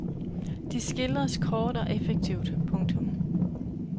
De skildres kort og effektivt. punktum